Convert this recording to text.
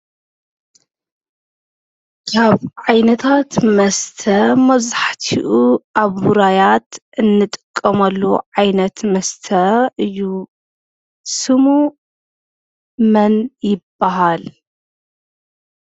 ካብ ዓይነታት መስተ መብዛሕቲኡ ኣብ ውራያት እንጥቀመሉ ዓይነት መስተ እዩ። ስሙ መን ይበሃል?